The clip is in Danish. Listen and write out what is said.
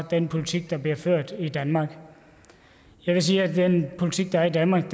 den politik der bliver ført i danmark jeg vil sige at den politik der er i danmark